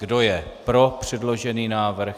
Kdo je pro předložený návrh?